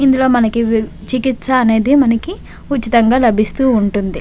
ఇందులో మనకి వి చికిత్స అనేది మనకి ఉచితంగా లబిస్తూ వుంటది.